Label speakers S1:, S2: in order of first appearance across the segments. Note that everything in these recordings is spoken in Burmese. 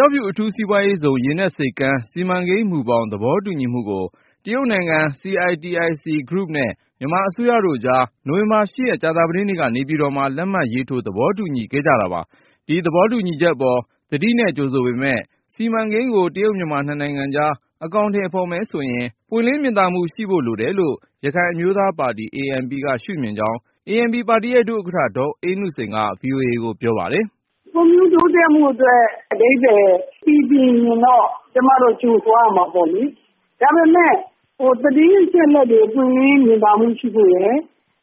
S1: ျောက်ဖြူအထူးစီးပွားရေးဇုန် ရေနက်ဆိပ်ကမ်း စီမံကိန်းမူဘောင် သဘောတူညီမှုကို တရုတ်နိုင်ငံ CITIC Group နဲ့ မြန်မာအစိုးရတို့ကြား နိုဝင်ဘာ ၈ ရက် ကြာသပတေးနေ့က နေပြည်တော်မှာ လက်မှတ်ထိုး သဘောတူခဲ့ကြတာပါ။ ဒီသဘောတူညီချက်အပေါ် သတိနဲ့ကြိုဆိုပေမဲ့ စီမံကိန်းကို တရုတ်-မြန်မာနှစ်နိုင်ငံကြား အကောင်ထည်ဖေါ်မယ်ဆိုရင် ပွင့်လင်းမြင်သာမှုရှိဖို့ လိုတယ်လို့ ရခိုင်အမျိုးသားပါတီ ANP က ရှုမြင်ကြောင်း ၊ ANP ပါတီရဲ့ ဒုဥက္ကဌ ဒေါ်အေးနုစိန်က VOA ကို ပြောပါတယ်။
S2: “ ဖွံ့ဖြိုးတိုးတက်မှုအတွက် အဓိပ္ပါယ် ပီပြင်ရင်တော့ ကျမတို့ကြိုဆိုရမှာပေါ့လေ။ ဒါပေမဲ့ သတင်းအချက်အလက်တွေ ပွင့်လင်းမြင်သာမှု ရှိဖို့ရယ်၊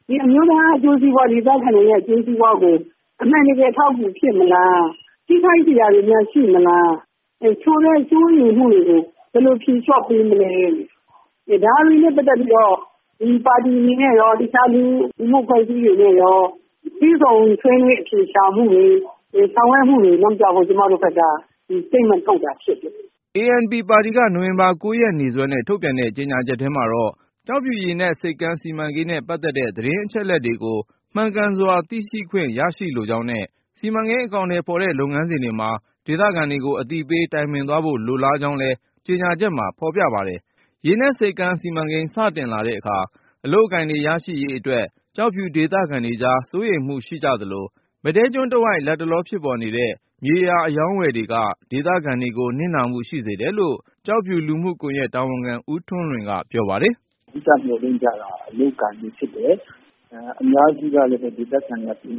S2: ဒီအမျိုးသားအကျိုးစီးပွား ဒေသခံတွေရဲ့ အကျိုးစီးပွားကို အမှန်တကယ် အထောက်အကူဖြစ်မလား၊ ထိခိုက်စရာတွေများ ရှိမလား… ဆိုတဲ့ စိုးရိမ်မှုတွေကို ဘယ်လိုဖြေလျှော့ပေးမလဲ။ ဒါတွေနဲ့ပတ်သက်ပြီးတော့ ဒီပါတီတွေနဲ့ရော အခြားလူမှုအဖွဲ့အစည်းတွေနဲ့ရော တွေ့ဆုံ ဆွေးနွေးအဖြေရှာမှုတွေ ဆောင်ရွက်မှုတွေလုပ်ပေးဖို့ ကျမတို့ဘက်က ဒီကြေညာချက်ကို ထုတ်တာဖြစ်ပါတယ
S1: ်။” ANP ပါတီက နိုဝင်ဘာ ၉ ရက်နေ့စွဲနဲ့ ထုတ်ပြန်တဲ့ကြေညာချက်ထဲမှာတော့ ကျောက်ဖြူရေနက်ဆိပ်ကမ်း စီမံကိန်းနဲ့ ပတ်သက်တဲ့ သတင်း အချက်အလက်တွေကို မှန်ကန်စွာ သိရှိခွင့်ရရှိလိုကြောင်းနဲ့ စီမံကိန်း အကောင်အထည်ဖေါ်တဲ့ လုပ်ငန်းစဉ်တွေမှာ ဒေသခံတွေကို အသိပေး တိုင်ပင်သွားဖို့ လိုလားကြောင်းလည်း ကြေညာချက်မှာ ဖေါ်ပြထားပါတယ်။ ရေနက်ဆိပ်ကမ်းစီမံကိန်း စတင်လာတဲ့အခါ အလုပ်အကိုင်တွေရရှိရေးအတွက် ကျောက်ဖြူဒေသခံတွေကြား စိုးရိမ်မှုရှိသလို၊ မဒဲကျွန်းတဝိုက် လတ်တလော ဖြစ်ပေါ်နေတဲ့ မြေယာအရောင်းအဝယ်တွေက ဒေသခံတွေကို နစ်နာမှု ရှိစေတယ်လို့ ကျောက်ဖြူလူမှုကွန်ယက် တာဝန်ခံ ဦးထွန်းလွင်က ပြောပါတယ်
S3: ။ “ အဓိက မျှော်လင့်ကြတာက အလုပ်အကိုင်ပဲဖြစ်တယ်။ ဒေသခံအများစုက ပညာ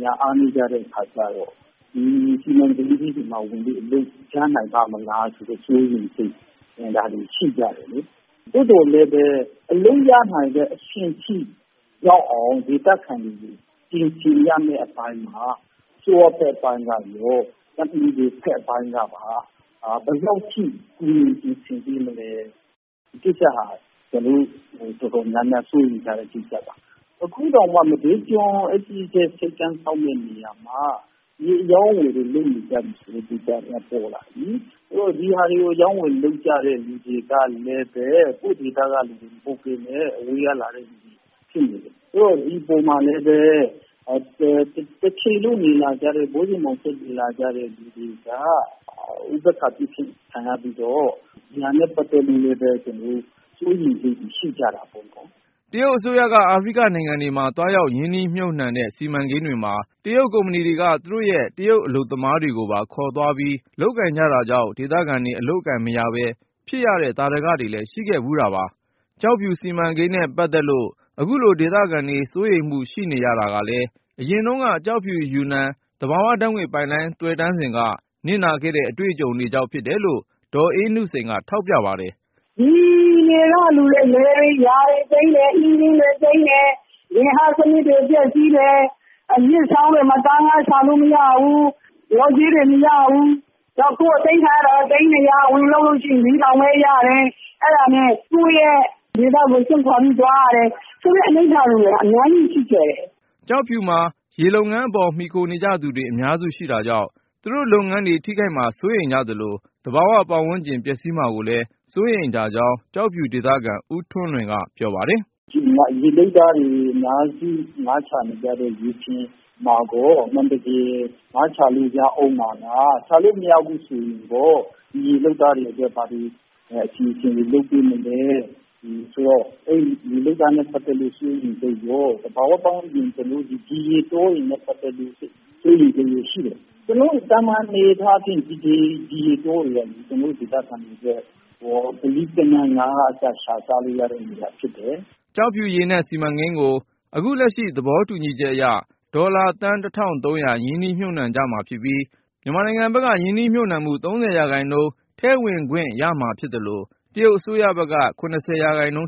S3: မှာ အားနည်းကြတဲ့အခါကျတော့ ဒီစီမံကိန်းကြီးတွေမှာ ဝင်ပြီး အလုပ်ရနိုင်ပါ့မလားဆိုတဲ့ စိုးရိမ်စိတ်တွေ ရှိကြတယ်လေ။ သို့သော်လည်းပဲ အလုပ်ရနိုင်တဲ့ အဆင့်ထိရောက်အောင် ဒေသခံတွေ ပြင်ဆင်ရမယ့် အပိုင်းမှာ အစိုးရဘက်ကရော ကုမ္ပဏီတွေဘက်ကပါ ဘယ်လောက်ထိ ကူညီပြင်ဆင်ပေးမလဲ။ ဒီကိစ္စက အတော်များများ စိုးရိမ်နေကြတဲ့ကိစ္စပါ။ အခုတောင်မှ မဒဲကျွန်း အဲဒီရေနက်ဆိပ်ကမ်းဆောက်မယ့် နေရာတဝိုက်မှာ မြေအရောင်းအဝယ်တွေ လုပ်နေကြတယ် ဆိုတဲ့ကိစ္စတွေက ပေါ်လာပြီလေ။ ဒီဟာတွေကို အရောင်းအဝယ်လုပ်ကြတဲ့ လူတွေကလည်း ကိုယ့်ဒေသကလူတွေ မဟုတ်ပဲနဲ့ အဝေးကလာတဲ့ လူတွေဖြစ်နေတယ်။ ဆိုတော့ ဒီပေါ်မှာလည်းပဲ တချိန်လုံး ဘိုးစဉ်ဘောင်ဆက်နေလာကြတဲ့ လူတွေက ဥပေက္ခာပြုခြင်း ခံရပြီးတော့ ဒါနဲ့ပတ်သက်လို့လည်း စိုးရိမ်မှု ရှိကြတာပေါ့နော
S1: ်။” တရုတ်အစိုးရက အာဖရိကနိုင်ငံတွေမှာ သွားရောက်ရင်းနှီးမြှုပ်နှံတဲ့ စီမံကိန်းတွေမှာ တရုတ်ကုမ္ပဏီတွေက သူတို့ရဲ့ တရုတ်အလုပ်သမား တွေကိုပါ ခေါ်သွားပြီး လုပ်ကိုင်ကြတာကြောင့် ဒေသခံတွေ အလုပ်အကိုင်မရပဲ ဖြစ်ရတဲ့ သာဓတွေလည်းရှိခဲ့ဖူးတာပါ။ ကျောက်ဖြူစီမံကိန်းနဲ့ပတ်သက်လို့ အခုလို ဒေသခံတွေစိုးရိမ်မှု ရှိနေရတာကလည်း အရင်တုန်းက ကျောက်ဖြူ-ယူနန် သဘာဝဓါတ်ငွေ့ ပိုက်လိုင်း သွယ်တန်းစဉ်က နစ်နာခဲ့တဲ့ အတွေ့အကြုံတွေကြောင့် ဖြစ်တယ်လို့ ဒေါ်အေးနုစိန်က ထောက်ပြပါတယ်။
S2: “ ဒီနယ်ကလူတွေရဲ့ လယ်တွေယာတွေသိမ်းတယ်။ ဂေဟစနစ်တွေ ပျက်စီးတယ်။ မြစ်ချောင်းတွေမှာ သားငါးရှာလို့ မရဘူး။ လျှော်ကြေးတွေ မရဘူး။ နောက် ကိုယ့်အသိမ်းခံရတဲ့ တန်ဖိုးနဲ့ ပြန်လျှော်ပေးတဲ့ တန်းဖိုးက မမျှဘူး။ အဲဒါနဲ့ပဲ သူတို့တွေက ကိုယ့်ဒေသကို စွန့်ခွာပြီးထွက်သွား ကြတယ်… ဆိုတဲ့ အနိဌာရုံတွေက အများကြီးရှိခဲ့တယ်။
S1: ” ကျောက်ဖြူမှာ ရေလုပ်ငန်းအပေါ် မှီခိုနေကြသူတွေ အများစုရှိတာကြောင့် သူတို့လုပ်ငန်းတွေ ထိခိုက်မှာကိုစိုးရိမ်ကြသလို၊ သဘာဝ ပတ်ဝန်းကျင် ပျက်စီးမှာကိုလည်း စိုးရိမ်ကြကြောင်း ကျောက်ဖြူဒေသခံ ဦးထွန်းလွင်က ပြောပါတယ်။
S3: “ ဒီမှာ ရေလုပ်သားတွေအများစု ငါးရှာနေကြတဲ့လူတွေမှာကော တကယ်ပဲ ငါးရှာလို့ ရဦးမှာလား၊ ရှာလို့မရဘူးဆိုရင်ကော ဒီရေလုပ်သားတွေ အတွက် ဘာတွေ အစီအစဉ်တွေ လုပ်ပေးမလဲ အဲဒီလို ရေလုပ်သားတွေရဲ့ စိုးရိမ်စိတ်ရော၊ သဘာဝပတ်ဝန်းကျင်ဆိုရင်လည်း စီမံကိန်းကြောင့် ဒီရေတောတွေနဲ့ ပတ်သက်လို့ စိုးရိမ်မှုတွေရှိကြတယ်။ အဲဒီ ဒီရေတောတွေက ကျနော်တို့ဒေသခံတွေအတွက် တဝမ်းတခါးရှာစားလို့ရတဲ့ နေရာတွေ ဖြစ်တ
S1: ယ်။” ကျောက်ဖြူ ရေနက်စီမံကိန်းကို အခုလက်ရှိ သဘောတူညီချက်အရ ဒေါ်လာ သန်း ၁၃၀၀ ရင်းနှီးမြှုပ်နှံကြမှာဖြစ်ပြီး မြန်မာနိုင်ငံဘက်က ရင်းနှီးမြှုပ်နှံမှု ၃၀% ထည့်ဝင်ခွင့်ရမှာဖြစ်သလို၊ တရုတ်အစိုးရဘက်က ၇၀%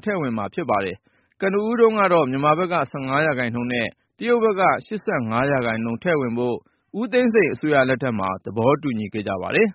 S1: ထည့်ဝင်မှာဖြစ်ပါတယ်။ ကနဦးတုန်းကတော့ မြန်မာဘက်က ၁၅% နဲ့ တရုတ်ဘက်က ၈၅% ထည့်ဝင်ဖို့ ဦးသိန်းစိန်အစိုးရလက်ထက်မှာ သဘောတူညီခဲ့ပါတယ်။